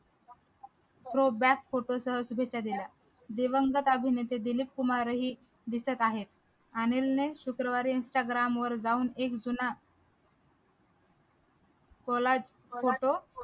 throwback photo सह शुभेच्छा दिल्या दिवंगत अभिनेते दिलीप कुमार ही दिसत आहेत अनिलने शुक्रवारी instagram वर जाऊन एक जुना photo